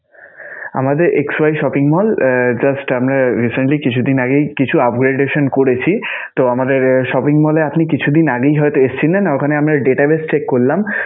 আমাদের xy shopping mall ah just আমরা recently কিছুদিন আগেই কিছু upgradation করেছি. তো আমাদের shopping mall এ আপনি কিছুদিন আগে হয়তো এসেছিলেন, ওখানে আমরা database check করলাম.